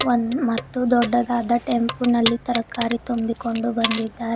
One ಮತ್ತು ದೊಡ್ಡದಾದ tempo ನಲ್ಲಿ ತರಕಾರಿ ತುಂಬಿಕೊಂಡು ಬಂದಿದ್ದಾರೆ.